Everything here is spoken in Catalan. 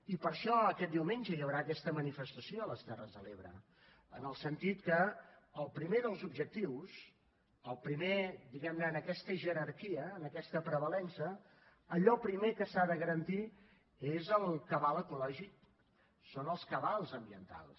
i per això aquest diumenge hi haurà aquesta manifestació a les terres de l’ebre en el sentit que el primer dels objectius el primer diguem ne en aquesta jerarquia en aquesta prevalença allò primer que s’ha de garantir és el cabal ecològic són els cabals ambientals